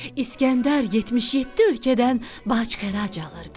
İskəndər 77 ölkədən bac-xərac alırdı.